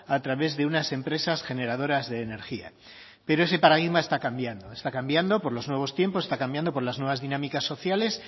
a través de unas empresas generadoras de energía pero ese paradigma está cambiando está cambiando por los nuevos tiempos está cambiando por las nuevas dinámicas sociales